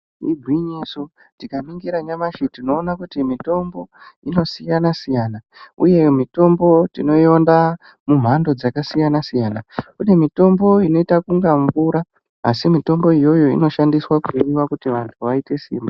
Igwinyiso, tikaningira nyamashi tinoona kuti mitombo inosiyana-siyana uye mitombo tinoiona mumhando dzakasiyana-siyana, kune mitombo inoita kunga mvura asi mitombo iyoyo inoshandiswa kune vantu kuti vaite simba.